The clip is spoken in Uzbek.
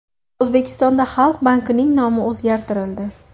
O‘zbekistonda Xalq bankining nomi o‘zgartirildi.